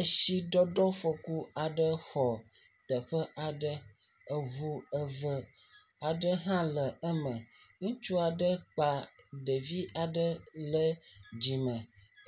Eshidɔdɔfɔku aɖe xɔ teƒe aɖe, eŋu eve hã le eme, ŋutsu aɖe kpa ɖevi le dzime